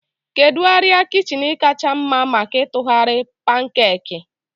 Kedu arịa kichin kacha mma maka ịtụgharị pankeeki?